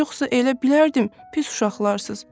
Yoxsa elə bilərdim pis uşaqlarsız.